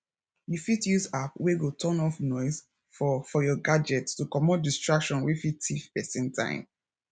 you fit use app wey go turn off noise for for your gadget to comot distraction wey fit thief person time